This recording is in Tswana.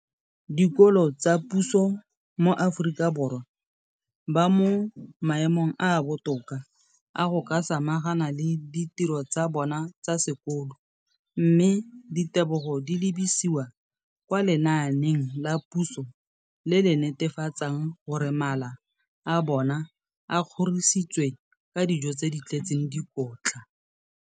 Dikolo tsa puso mo Aforika Borwa ba mo maemong a a botoka a go ka samagana le ditiro tsa bona tsa sekolo, mme ditebogo di lebisiwa kwa lenaaneng la puso le le netefatsang gore mala a bona a kgorisitswe ka dijo tse di tletseng dikotla.